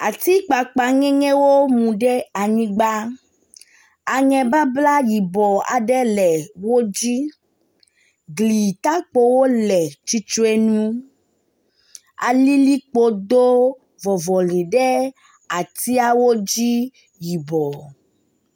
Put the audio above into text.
Atikpakpaŋɛŋɛwo mu ɖe anyigba. Aŋebabla yibɔ aɖe le wo dzi. glitakpowo le tsitre nu alilikpo do vɔvɔli ɖe atiawo dzi yibɔ.